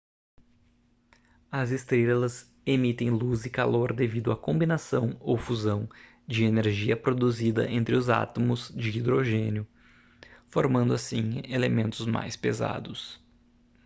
as estrelas emitem luz e calor devido à combinação ou fusão de energia produzida entre os átomos de hidrogênio formando assim elementos mais pesados